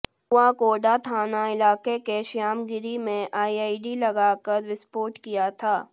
कुआकोंडा थाना इलाके के श्यामागिरी में आईईडी लगाकर विस्फोट किया था